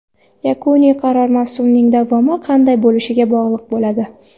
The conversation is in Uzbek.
Yakuniy qaror mavsumning davomi qanday bo‘lishiga bog‘liq bo‘ladi.